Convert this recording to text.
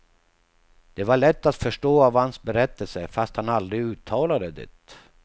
Det var lätt att förstå av hans berättelser, fast han aldrig uttalade det.